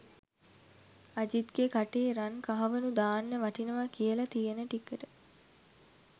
අජිත්ගෙ කටේ රන් කහවනු දාන්න වටිනව කියල තියෙන ටිකට